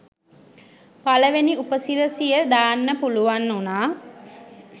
පළවෙනි උපසිරසිය දාන්න පුළුවන් උණා.